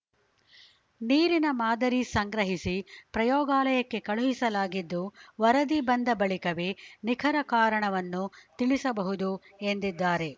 ನೀರಿನ ಮಾದರಿ ಸಂಗ್ರಹಿಸಿ ಪ್ರಯೋಗಾಲಯಕ್ಕೆ ಕಳುಹಿಸಲಾಗಿದ್ದು ವರದಿ ಬಂದ ಬಳಿಕವೇ ನಿಖರ ಕಾರಣವನ್ನು ತಿಳಿಸಬಹುದು ಎಂದಿದ್ದಾರೆ